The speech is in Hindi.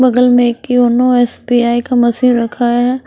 बगल में एक योनो एसबीआई का मशीन रखा है।